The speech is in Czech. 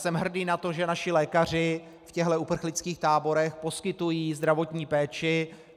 Jsem hrdý na to, že naši lékaři v těchto uprchlických táborech poskytují zdravotní péči.